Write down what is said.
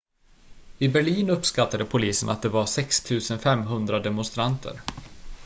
i berlin uppskattade polisen att det var 6 500 demonstranter